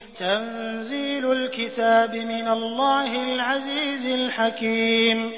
تَنزِيلُ الْكِتَابِ مِنَ اللَّهِ الْعَزِيزِ الْحَكِيمِ